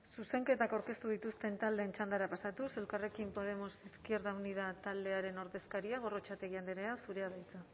zuzenketak aurkeztu dituzten taldeen txandara pasatuz elkarrekin podemos izquierda unida taldearen ordezkaria gorrotxategi andrea zurea da hitza